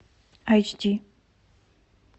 айч ди